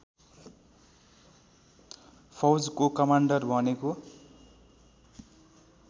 फौजको commander भनेको